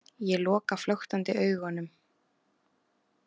Ég loka flöktandi augunum.